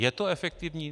Je to efektivní?